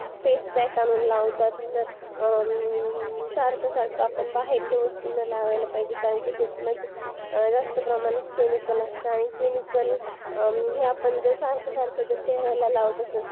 facepack आणून लावतात तर सारखं सारखं आपण बाहेरच्या वस्तू नाही लावायला पाहिजे कारण त्याच्यामध्ये जास्त प्रमाणात chemicals असतं आणि chemicals जरा पण सारखं सारखं चेहऱ्याला लावत असेल तर